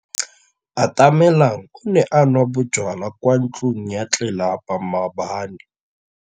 Atamelang o ne a nwa bojwala kwa ntlong ya tlelapa maobane.